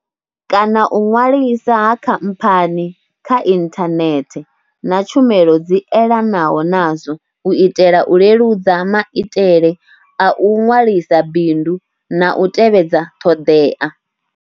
kana u ṅwaliswa ha khamphani kha inthanethe na tshumelo dzi elanaho nazwo u itela u leludza maitele a u ṅwalisa bindu na u tevhedza ṱhoḓea.